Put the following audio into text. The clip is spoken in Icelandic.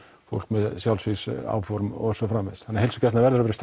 fólk með sjálfsvígsáform og svo framvegis þannig að heilsugæslan verður að vera